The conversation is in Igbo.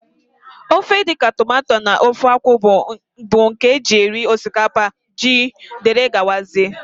Ofe dịka tomato na ofe akwụ bụ nke e ji eri osikapa, ji wdg.